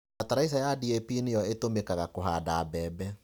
Bataraica ya DAP nĩyo ĩtũmĩkaga kũhanda mbembe.